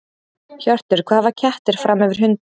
Hjörtur: Hvað hafa kettir fram yfir hunda?